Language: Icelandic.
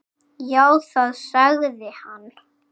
Já, það sagði hann.